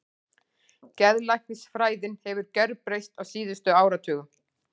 Geðlæknisfræðin hefur gjörbreyst á síðustu áratugum.